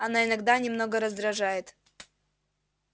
она иногда немного раздражает